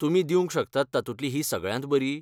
तुमी दिवंक शकतात तातूंतली ही सगळ्यांत बरी?